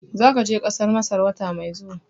Zaka je Kasar Masar wata mai zuwa